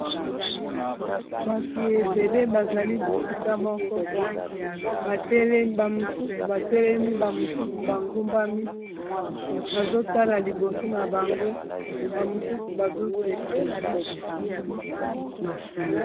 bato ebele bazali bisika moko bamosusu batelemi bamosusu bangumbami bazotala liboso na bango bamosusu bazoseka